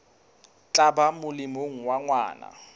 tla ba molemong wa ngwana